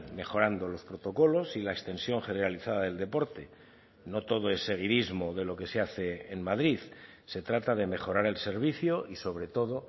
mejorando los protocolos y la extensión generalizada del deporte no todo es seguidismo de lo que se hace en madrid se trata de mejorar el servicio y sobre todo